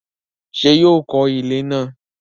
ṣé yóò kọ ilẹ́ náà?